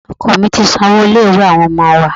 Oko mí ti san owó ilé-ìwé àwọn ọmọ wa.